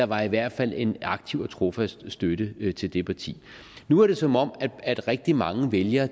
var i hvert fald en aktiv og trofast støtte til det parti nu er det som om at rigtig mange vælgere